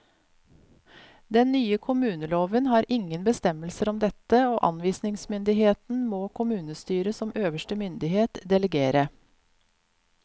Den nye kommuneloven har ingen bestemmelser om dette, og anvisningsmyndigheten må kommunestyret som øverste myndighet delegere.